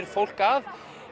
fólk að